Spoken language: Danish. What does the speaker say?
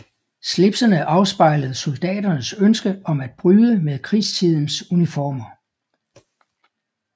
Slipsene afspejlede soldaternes ønske om at bryde med krigstidens uniformer